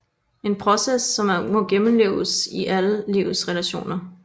En proces som må gennemleves i alle livets relationer